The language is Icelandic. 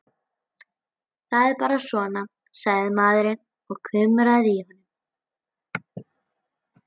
Það er bara svona, sagði maðurinn og kumraði í honum.